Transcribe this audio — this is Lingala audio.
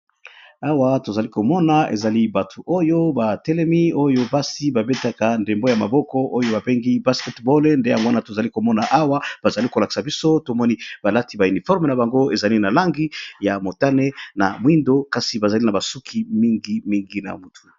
Awa tozali komona ezali batu oyo ba telemi oyo basi ba betaka ndembo ya maboko oyo ba bengi basketballe nde yango wana tozali komona awa bazali kolakisa biso tomoni balati ba uniforme na bango ezali na langi ya motane na mwindo kasi bazali na basuki mingi mingi na mutu.